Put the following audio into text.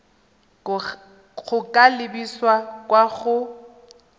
go ka lebisa kwa go